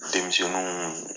Denmisɛnniw